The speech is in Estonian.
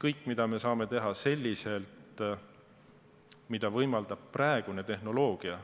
Kõike, mida me saame teha, mida võimaldab praegune tehnoloogia,